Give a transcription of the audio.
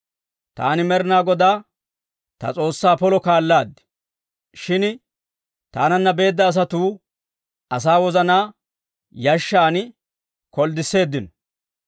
Taani Med'ina Godaa ta S'oossaa polo kaalaad; shin taananna beedda asatuu asaa wozanaa yashshan kolddisseeddino.